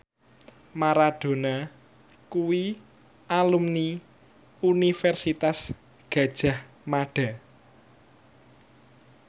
Maradona kuwi alumni Universitas Gadjah Mada